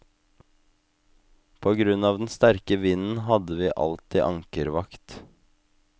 På grunn av den sterke vinden hadde vi alltid ankervakt.